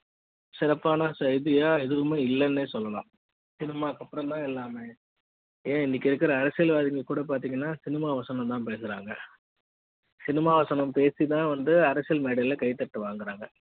சிறப்பான செய்தியா எதுமே இல்லன்னு சொல்லலாம் cinema க்கு அப்புறம் தான் எல்லாமே ஏன் இன்னைக்கு இருக்கிற அரசியல்வாதிகள் கூட பாத்தீங்கன்னா cinema வசனம் தான் பேசுறாங்க cinema வசனம் பேசி தான் அரசியல் மேடையில் கைதட்டல் வாங்குறாங்க